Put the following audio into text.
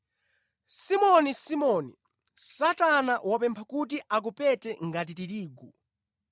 “Simoni, Simoni, Satana wapempha kuti akupete ngati tirigu.